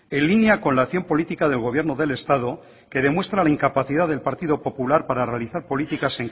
en línea con la acción política del gobierno del estado que demuestra la incapacidad del partido popular para realizar políticas